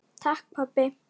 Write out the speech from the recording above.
Takk, pabbi.